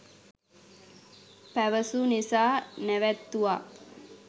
පැවසූ නිසා නැවැත්තුවා